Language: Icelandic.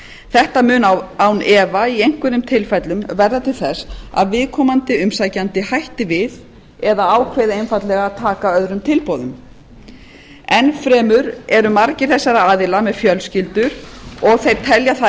þetta mun án efa í einhverjum tilfellum verða til þess að viðkomandi umsækjandi hætti við eða ákveði einfaldlega að taka öðrum tilboðum enn fremur eru margir þessara aðila með fjölskyldur og þeir telja það